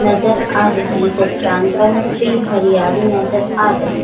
नजर आ रही चट्टान पर भी हरियाली नजर आ रही है।